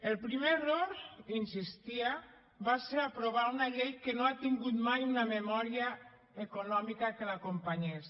el primer error hi insistia va ser aprovar una llei que no ha tingut mai una memòria econòmica que l’acompanyés